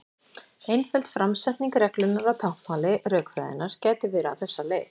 Einföld framsetning reglunnar á táknmáli rökfræðinnar gæti verið á þessa leið: